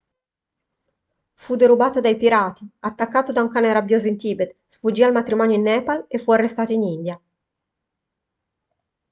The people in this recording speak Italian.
fu derubato dai pirati attaccato da un cane rabbioso in tibet sfuggì al matrimonio in nepal e fu arrestato in india